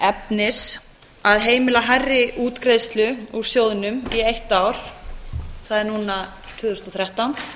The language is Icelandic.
efnis að heimila hærri útgreiðslu úr sjóðnum í eitt ár það er núna tvö þúsund og þrettán